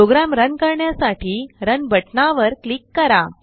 programme run करण्यासाठी run बटनावर click करा